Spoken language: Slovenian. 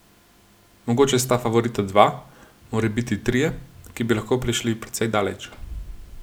Mogoče sta favorita dva, morebiti trije, ki bi lahko prišli precej daleč.